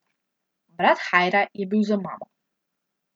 Brat Hajra je bil z mamo.